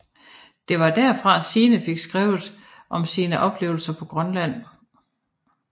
Det var derfra Signe fik skrevet om sine oplevelser på Grønland